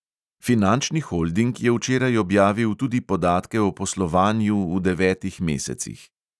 Finančni holding je včeraj objavil tudi podatke o poslovanju v devetih mesecih.